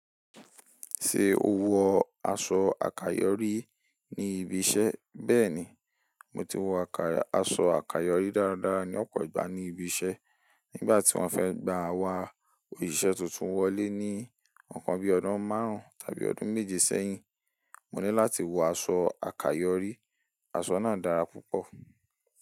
Ṣé o wọ aṣọ àkayòrí ní ibi iṣẹ́? Bẹ́ẹ̀ni, mo ti wọ aṣọ àkayòrí dáradára ní ọ̀pọ̀ ìgbà ní ibi iṣẹ́. Nígbà tí wọ́n fẹ́ gba wa òṣìṣẹ́ tuntun wọlé ní ọ̀kan bí ọdún márùn-ún tàbí ọdún méje sẹ́yìn, mo ní láti wọ aṣọ àkayòrí. Aṣọ náà dára púpọ̀.